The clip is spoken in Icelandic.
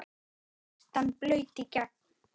Skyrtan blaut í gegn.